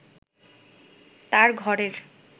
তার ঘরের